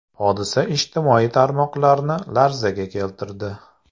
Hodisa ijtimoiy tarmoqlarni larzaga keltirdi.